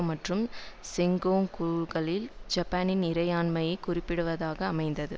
மற்றும் செங்காக்கூகளில் ஜப்பானின் இறையாண்மையை குறிப்பிடுவதாக அமைந்தது